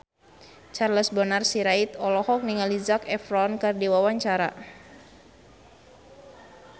Charles Bonar Sirait olohok ningali Zac Efron keur diwawancara